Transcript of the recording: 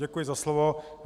Děkuji za slovo.